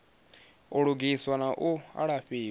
u lugiswa na u alafhiwa